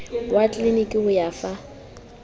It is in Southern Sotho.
wa tleliniki ho o fa